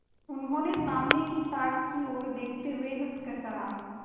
उन्होंने सामने की ताक की ओर देखते हुए हंसकर कहा